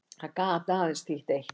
Það gat aðeins þýtt eitt.